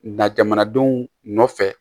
Na jamanadenw nɔfɛ